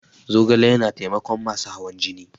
Zogale yana taimakon masu hawan jini.